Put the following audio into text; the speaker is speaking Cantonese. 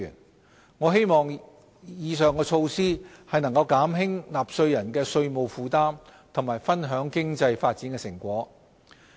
我們希望以上措施能減輕納稅人的稅務負擔和分享經濟發展成果。